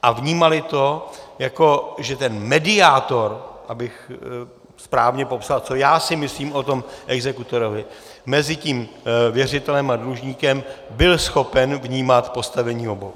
A vnímali to, jako že ten mediátor - abych správně popsal, co já si myslím o tom exekutorovi - mezi tím věřitelem a dlužníkem byl schopen vnímat postavení obou.